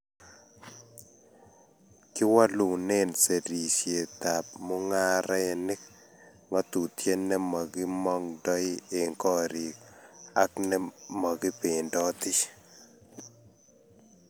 kiwolune serisietab mung'arenik ng'atutie ne makimong'doi eng' korik ak ne makibendoti.